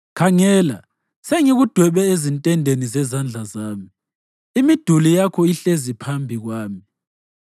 Khangela, sengikudwebe ezintendeni zezandla zami; imiduli yakho ihlezi iphambi kwami.